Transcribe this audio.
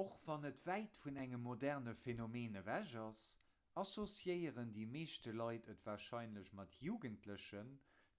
och wann et wäit vun engem moderne phenomen ewech ass associéieren déi meescht leit et warscheinlech mat jugendlechen